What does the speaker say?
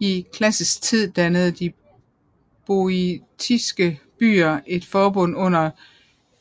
I klassisk tid dannede de boiotiske byer et forbund under